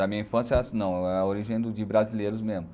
Na minha infância não, é a origem de brasileiros mesmo.